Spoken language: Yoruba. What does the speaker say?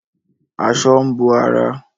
Aṣọ ń bo ara